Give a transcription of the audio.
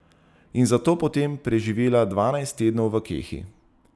In za to potem preživela dvanajst tednov v kehi.